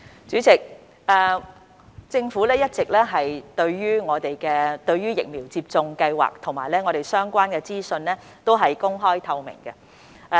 主席，對於疫苗接種計劃及相關資訊，政府均一直公開透明。